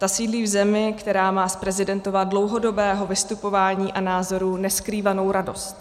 Ta sídlí v zemi, která má z prezidentova dlouhodobého vystupování a názorů neskrývanou radost.